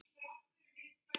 Hann treysti sínu fólki.